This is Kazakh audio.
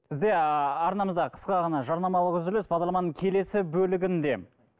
бізде арнамызда қысқа ғана жарнамалық үзіліс бағдарламаның келесі бөлігінде